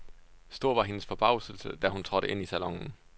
Stor var hendes forbavselse, da hun trådte ind i salonen.